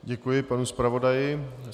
Děkuji panu zpravodaji.